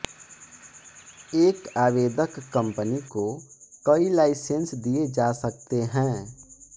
एक आवेदक कम्पनी को कई लाइसेंस दिए जा सकते हैं